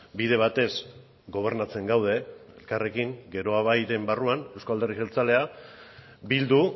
bide batez gobernatzen gaude elkarrekin geroa bairen barruan euzko alderdi jeltzalea bildu